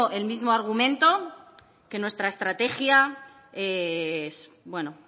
el mismo argumento que nuestra estrategia es bueno